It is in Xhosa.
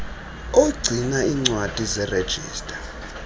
ogcina iincwadi zerejista